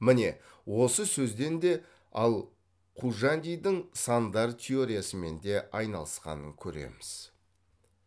міне осы сөзден де ал қужандидің сандар теориясымен де айналысқанын көреміз